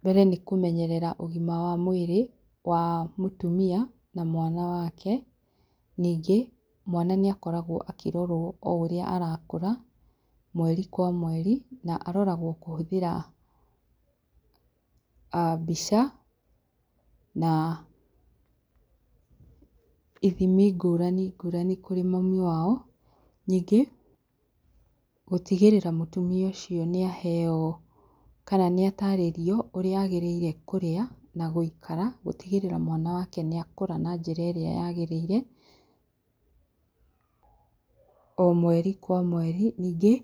Mbere nĩ kũmenyerera ũgima wa mwĩrĩ wa mũtumia na mwana wake, ningĩ mwana nĩakoragwo akĩrorwo o ũrĩa arakũra mweri kwa mweri, na aroragwo kũhũthĩra mbica na ithimi ngũrani ngũrani kũrĩ mami wao, ningĩ gũtigĩrĩra mũtumia ũcio nĩaheo kana nĩatarĩrio ũrĩa agĩrĩirwo kũrĩa, na gũikara gũtigĩrĩra mwana wake nĩaikara na njĩra ĩrĩa yagĩrĩire o mweri kwa mweri. Ningĩ